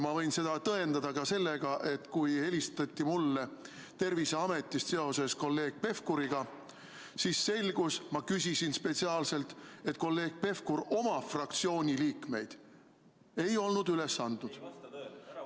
Ma võin seda tõendada ka sellega, et kui mulle helistati Terviseametist seoses kolleeg Pevkuriga, siis selgus – ma küsisin seda spetsiaalselt –, et kolleeg Pevkur oma fraktsiooni liikmeid ei olnud üles andnud.